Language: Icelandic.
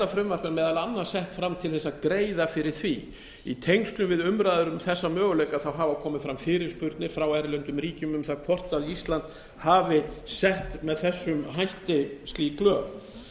er meðal annars sett fram til að greiða fyrir því í tengslum við umræður um þessa möguleika hafa komið fram fyrirspurnir frá erlendum ríkjum um það hvort ísland hafi sett með þessum hætti slík lög